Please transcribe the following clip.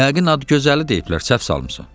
Yəqin ad gözəli deyiblər, səhv salmısan.